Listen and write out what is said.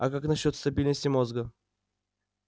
а как насчёт стабильности мозга